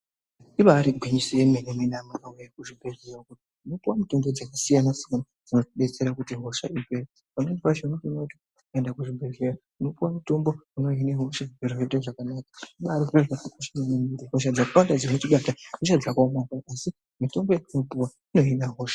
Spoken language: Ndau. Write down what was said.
Ibaari gwinyiso yemene-mene amunawee kuzvibhehleya uko tinopuwa mitombo dzakasiyana-siyana dzinotidetsera kuti hosha ipere. Pamweni pacho unotoona kuti ukaenda kuzvibhehleya unopuwa mutombo unohina hosha, zvinhu zvoite zvakanaka. Hosha dzakawanda dzinotibata ihosha dzakaomarara asi mitombo yatinopuwa, inohina hosha.